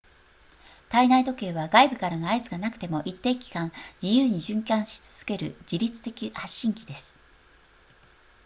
体内時計は外部からの合図がなくても一定期間自由に循環し続ける自立的発振器です